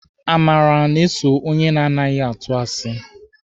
Amara na-eso onye na anaghị atụ asi